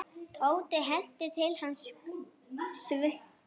Tóti henti til hans svuntu.